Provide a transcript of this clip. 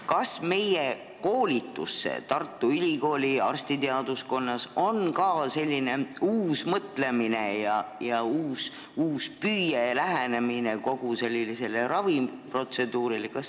Kas meie koolitusse Tartu Ülikooli arstiteaduskonnas on ka jõudnud selline uus mõtlemine, uus püüe ja uutmoodi lähenemine kogu raviprotseduurile?